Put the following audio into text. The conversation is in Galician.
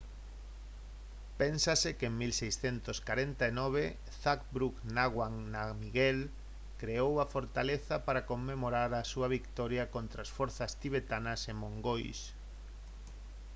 pénsase que en 1649 zhabdrung ngawang namgyel creou a fortaleza para conmemorar a súa vitoria contra as forzas tibetanas e mongois